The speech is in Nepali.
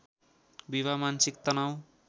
विवाह मानसिक तनाउ